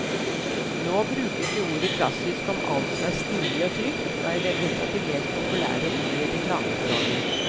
Nå brukes jo ordet klassisk om alt som er stilig og trygt, og er vel et av de mest populære ord i reklamespråket.